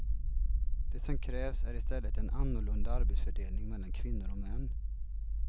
Det som krävs är i stället en annorlunda arbetsfördelning mellan kvinnor och män.